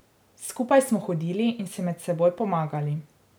Skupaj smo hodili in si med seboj pomagali.